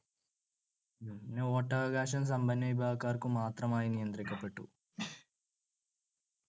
പിന്നെ വോട്ടവകാശം സമ്പന്നവിഭാഗക്കാർക്കു മാത്രമായി നിയന്ത്രിക്കപ്പെട്ടു